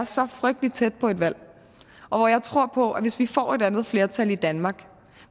så frygtelig tæt på et valg og jeg tror på at hvis vi får et andet flertal i danmark